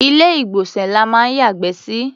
Ilé-ìgbọ̀nsẹ̀ la máa ń yàgbẹ́ sí.